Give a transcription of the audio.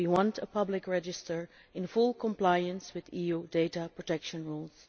We want a public register in full compliance with EU data protection rules.